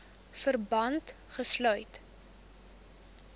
verband gesluit